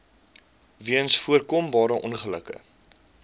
weens voorkombare ongelukke